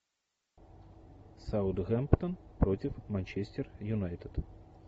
саутгемптон против манчестер юнайтед